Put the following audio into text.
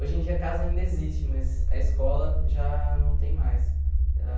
Hoje em dia a casa ainda existe, mas a escola já não tem mais.